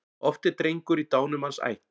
Oft er drengur í dánumanns ætt.